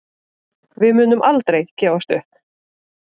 Við munum aldrei gefast upp